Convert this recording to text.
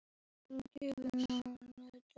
Hún verður gefins á netinu.